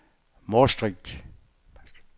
Maastricht